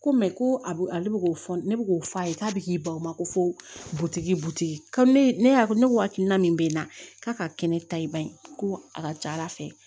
Ko mɛ ko a ale bɛ fɔ ne bɛ k'o f'a ye k'a bɛ k'i baw ma ko butigi butigi ne y'a ne ko hakilina min bɛ n na k'a ka kɛnɛ ta i bani ko a ka ca ala fɛ